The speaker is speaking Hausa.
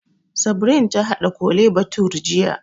Sabrin ta haɗa Kole bathure jiya